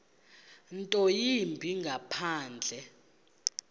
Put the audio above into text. nto yimbi ngaphandle